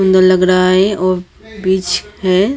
सुंदर लग रहा है और बीच है।